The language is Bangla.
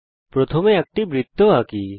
প্রথমে একটি বৃত্ত আঁকি